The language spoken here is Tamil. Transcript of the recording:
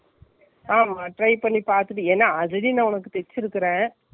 ஆமா, try பண்ணி பார்த்துட்டு ஏன்னா already நான் உன்னக்கு தைச்சி இருக்கேன்.